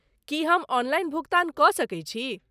की हम ऑनलाइन भुगतान कऽ सकैत छी?